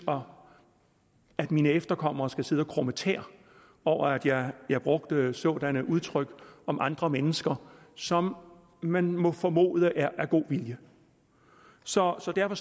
år at mine efterkommere ikke skal sidde og krumme tæer over at jeg jeg brugte sådanne udtryk om andre mennesker som man må formode er af god vilje så så derfor